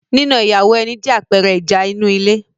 nína ìyàwó ẹni jẹ́ àpẹẹrẹ ìjà inú ilé